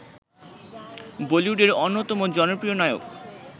বলিউডের অন্যতম জনপ্রিয় নায়ক